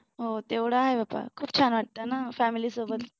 हो तेवढ आहे पण खूप छान वाटतं family सोबत